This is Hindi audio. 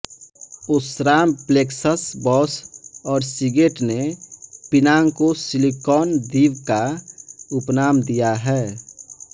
ओस्राम प्लेक्सस बॉश और सीगेट ने पिनांग को सिलिकॉन द्वीप का उपनाम दिया है